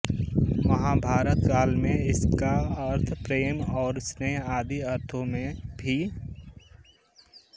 महाभारत काल में इसका अर्थ प्रेम और स्नेह आदि अर्थों में भी